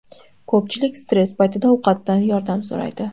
Ko‘pchilik stress paytida ovqatdan yordam so‘raydi.